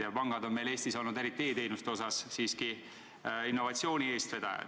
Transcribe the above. Ja pangad on meil Eestis olnud eriti e-teenuste osas siiski innovatsiooni eestvedajad.